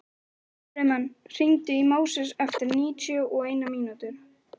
Friðmann, hringdu í Móses eftir níutíu og eina mínútur.